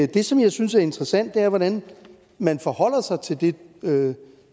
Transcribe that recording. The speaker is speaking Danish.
det som jeg synes er interessant er hvordan man forholder sig til det som